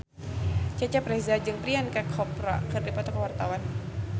Cecep Reza jeung Priyanka Chopra keur dipoto ku wartawan